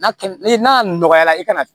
N'a kɛ ni n'a nɔgɔyara i ka na